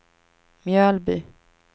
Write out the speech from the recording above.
Mjölby